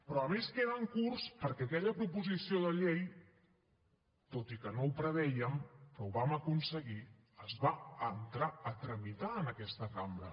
però a més queden curts perquè aquella proposició de llei tot i que no ho prevèiem que ho vam aconseguir es va entrar a tramitar en aquesta cambra